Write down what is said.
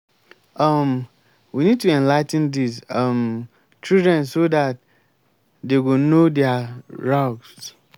um we need to enligh ten dis um children so dat dey go know their rughts